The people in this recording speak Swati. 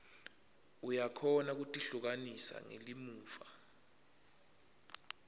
uyakhona kutihlukanisa ngelimuva